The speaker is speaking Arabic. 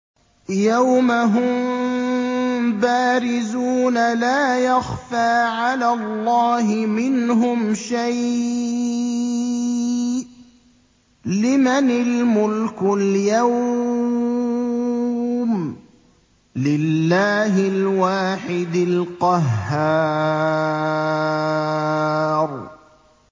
يَوْمَ هُم بَارِزُونَ ۖ لَا يَخْفَىٰ عَلَى اللَّهِ مِنْهُمْ شَيْءٌ ۚ لِّمَنِ الْمُلْكُ الْيَوْمَ ۖ لِلَّهِ الْوَاحِدِ الْقَهَّارِ